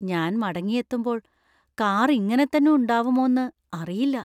ഞാൻ മടങ്ങിയെത്തുമ്പോൾ കാർ ഇങ്ങനെ തന്നെ ഉണ്ടാവുമോന്ന് അറിയില്ല.